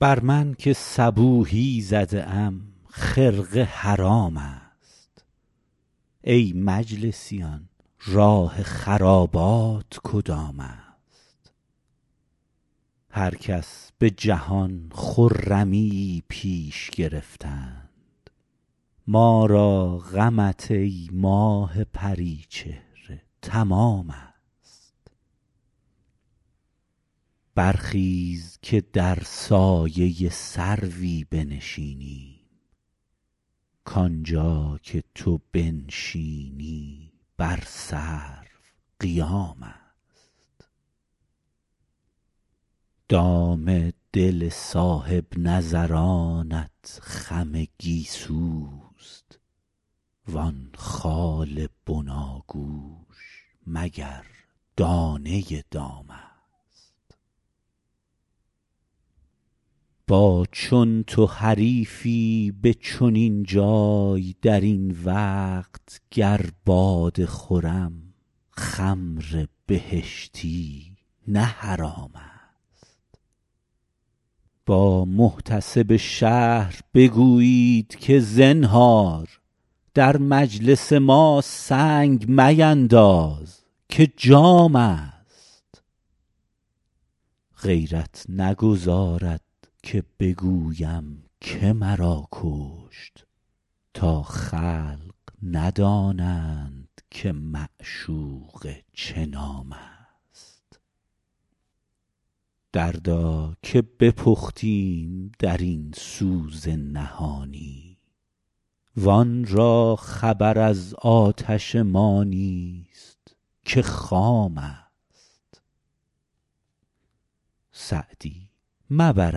بر من که صبوحی زده ام خرقه حرام است ای مجلسیان راه خرابات کدام است هر کس به جهان خرمیی پیش گرفتند ما را غمت ای ماه پری چهره تمام است برخیز که در سایه سروی بنشینیم کانجا که تو بنشینی بر سرو قیام است دام دل صاحب نظرانت خم گیسوست وان خال بناگوش مگر دانه دام است با چون تو حریفی به چنین جای در این وقت گر باده خورم خمر بهشتی نه حرام است با محتسب شهر بگویید که زنهار در مجلس ما سنگ مینداز که جام است غیرت نگذارد که بگویم که مرا کشت تا خلق ندانند که معشوقه چه نام است دردا که بپختیم در این سوز نهانی وان را خبر از آتش ما نیست که خام است سعدی مبر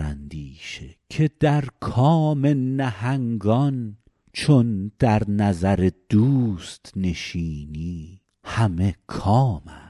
اندیشه که در کام نهنگان چون در نظر دوست نشینی همه کام است